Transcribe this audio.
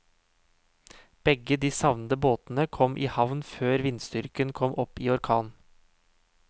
Begge de savnede båtene kom i havn før vindstyrken kom opp i orkan.